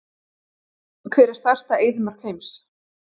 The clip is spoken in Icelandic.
Hver er stærsta eyðimörk heims?